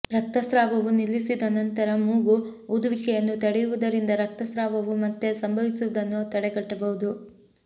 ರಕ್ತಸ್ರಾವವು ನಿಲ್ಲಿಸಿದ ನಂತರ ಮೂಗು ಊದುವಿಕೆಯನ್ನು ತಡೆಯುವುದರಿಂದ ರಕ್ತಸ್ರಾವವು ಮತ್ತೆ ಸಂಭವಿಸುವುದನ್ನು ತಡೆಗಟ್ಟಬಹುದು